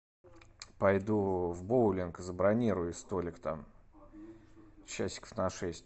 пойду в боулинг забронируй столик там часиков на шесть